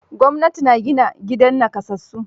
Gwamnati na gina gidan nakasassu.